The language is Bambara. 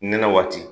Nɛnɛ waati